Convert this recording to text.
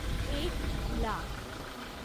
एक लाख